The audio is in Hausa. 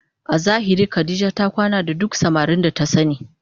A zahiri Khadijah ta kwana da duk samarin da ta sani